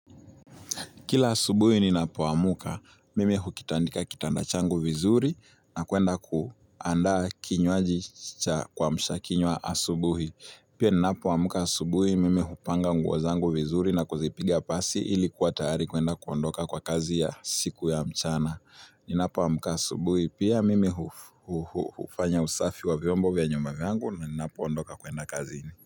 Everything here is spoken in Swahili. Kila asubuhi ninapoamka, mimi hukitandika kitanda changu vizuri na kuenda kuandaa kinywaji cha kuamsha kinywa asubuhi. Pia ninapo amka asubuhi, mimi hupanga nguo zangu vizuri na kuzipigia pasi ili kuwatayari kwenda kuondoka kwa kazi ya siku ya mchana. Ninapo amka asubuhi, pia mimi hufanya usafi wa vyombo vya nyumba vyangu na ninapo ondoka kwenda kazini.